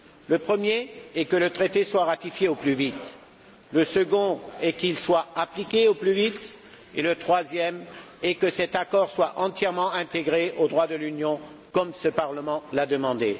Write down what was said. Le premier est que le traité soit ratifié au plus vite, le second est qu'il soit appliqué au plus vite et le troisième est que cet accord soit entièrement intégré au droit de l'Union, comme ce Parlement l'a demandé.